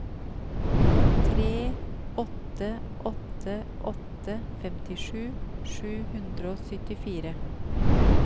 tre åtte åtte åtte femtisju sju hundre og syttifire